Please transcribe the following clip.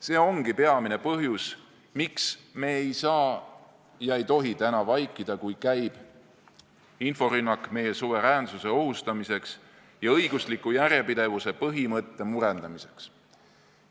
See ongi peamine põhjus, miks me ei saa ega tohi täna vaikida, kui käib inforünnak meie suveräänsuse ohustamiseks ja õigusliku järjepidevuse põhimõtte murendamiseks.